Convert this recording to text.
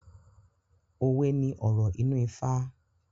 Owé ní ọ̀rọ̀ inú ifá.